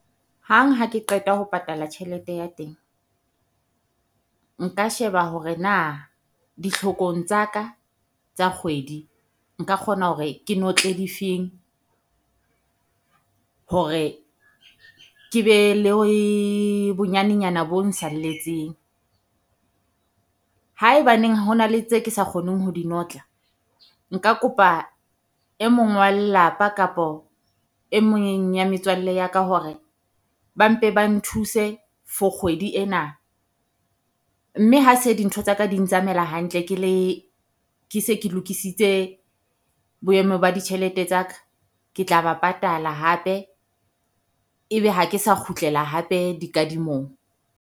Hang ha ke qeta ho patala tjhelete ya teng, nka sheba hore na ditlhokong tsa ka tsa kgwedi nka kgona hore ke notle difeng. Hore ke be le bonyanenyana bo nsalletseng. Haebaneng ho na le tse ke sa kgoneng ho di notla nka kopa e mong wa lelapa kapa e mong ya metswalle ya ka hore ba mpe ba nthuse for kgwedi ena. Mme ha se dintho tsa ka di ntsamaela hantle ke le ke se ke lokisitse boemo ba ditjhelete tsa ka. Ke tla ba patala hape e be ha ke sa kgutlela hape dikadimong.